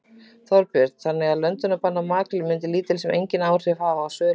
Þorbjörn: Þannig að löndunarbann á makríl myndi lítil sem enginn áhrif hafa á sölu makríls?